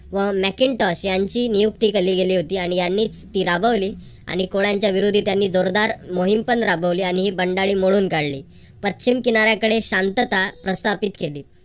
व makentoss यांची नियुक्ती केली गेली होती आणि यांनी ती राबवली. आणि कोळ्यांच्या विरोधी त्यांनी जोरदार मोहीमपण राबवली आणि ही बंडाळी मोडून काढली. पश्चिम किनाऱ्याकडे शांतता प्रस्थापित केली.